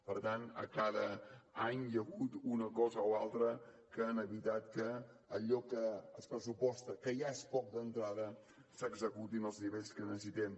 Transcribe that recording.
per tant a cada any hi ha hagut una cosa o altra que han evitat que allò que es pressuposta que ja és poc d’entrada s’executi en els nivells que necessitem